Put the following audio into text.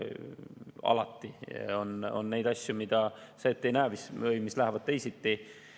Alati on asju, mida sa ette ei näe, mis lähevad teisiti.